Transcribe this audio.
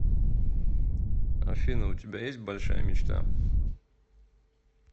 афина у тебя есть большая мечта